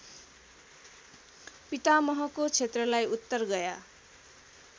पितामहको क्षेत्रलाई उत्तरगया